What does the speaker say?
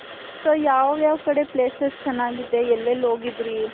so ಯಾವ್ ಯಾವ್ ಕಡೆ places ಚೆನ್ನಾಗಿದೆ ಎಲ್ ಎಲ್ ಹೋಗಿದ್ರಿ.